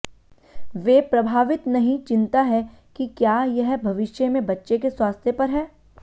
वे प्रभावित नहीं चिंता है कि क्या यह भविष्य में बच्चे के स्वास्थ्य पर है